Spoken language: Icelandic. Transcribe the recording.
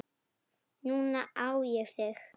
Núna á ég þig.